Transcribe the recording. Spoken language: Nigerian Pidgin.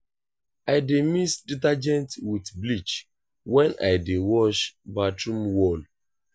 i dey mix detergent wit bleach wen i dey wash bathroom wall.